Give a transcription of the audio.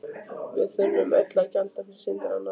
Við þurfum öll að gjalda fyrir syndir annarra.